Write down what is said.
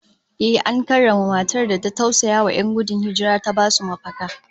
Ehh, an karrama matar da ta tausayawa 'yan gudun hijira ta basu mafaka